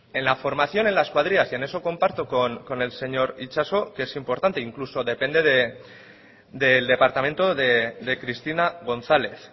en la formación en las cuadrillas y en eso comparto con el señor itxaso que es importante e incluso depende del departamento de cristina gonzález